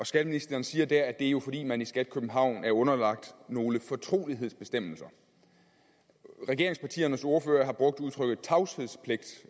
skatteministeren siger der at det jo er fordi man i skat københavn er underlagt nogle fortrolighedsbestemmelser regeringspartiernes ordførere har brugt udtrykket tavshedspligt